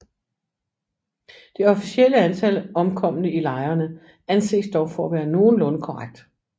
Det officielle antal omkomne i lejrene anses dog for at være nogenlunde korrekt